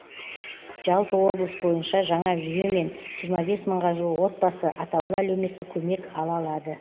жалпы облыс бойынша жаңа жүйемен жиырма бес мыңға жуық отбасы атаулы әлеуметтік көмек ала алады